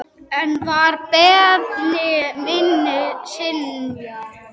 Enn var beiðni minni synjað.